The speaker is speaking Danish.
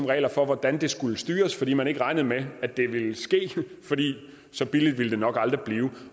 regler for hvordan det skulle styres fordi man ikke regnede med at det ville ske for så billigt ville det nok aldrig blive